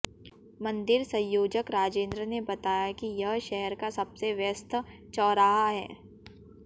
मंदिर संयोजक राजेंद्र ने बताया कि यह शहर का सबसे व्यस्त चौराहा है